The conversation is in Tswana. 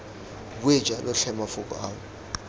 bue jalo tlhe mafoko ao